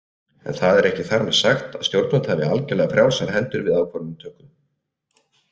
En það er ekki þar með sagt að stjórnvöld hafi algerlega frjálsar hendur við ákvarðanatökuna.